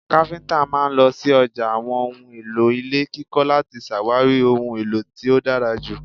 Kafinta máa ń lọ sí ọjà àwọn ohùn èlò ilé kíkọ láti ṣàwárí ohun èlò tí ó dára ju